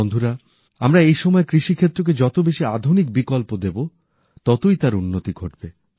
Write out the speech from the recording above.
বন্ধুরা আমরা এই সময়ে কৃষিক্ষেত্রকে যত বেশী আধুনিক বিকল্প দেবো ততই তার উন্নতি ঘটবে